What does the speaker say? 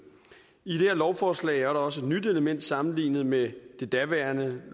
i det her lovforslag er der også et nyt element sammenlignet med det daværende